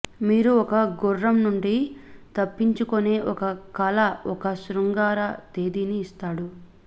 మీరు ఒక గుర్రం నుండి తప్పించుకొనే ఒక కల ఒక శృంగార తేదీని ఇస్తాడు